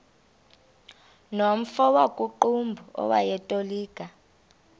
nomfo wakuqumbu owayetolika